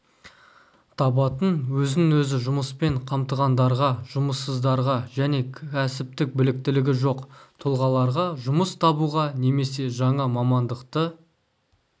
табатын өзін-өзі жұмыспен қамтығандарға жұмыссыздарға және кәсіптік біліктілігі жоқ тұлғаларға жұмыс табуға немесе жаңа мамандықты